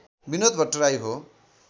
बिनोद भट्टराई हो